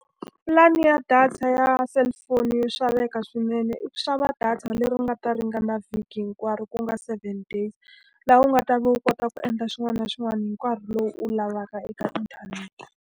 Pulani ya data ya cellphone yo xaveka swinene i ku xava data leri nga ta ringana vhiki hinkwaro ku nga seven days, laha u nga ta va u kota ku endla xin'wana na xin'wana hi nkarhi lowu u wu lavaka eka inthanete.